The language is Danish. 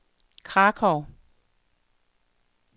Krakow